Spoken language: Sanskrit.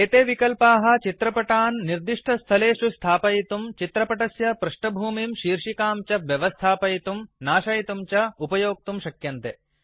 एते विकल्पाः चित्रपटान् निर्दिष्टस्थलेषु स्थापयितुं चित्रपटस्य पृष्ठभूमिं शीर्षिकां च व्यवस्थापयितुं नाशयितुंडिलीट् च उपयोक्तुं शक्यते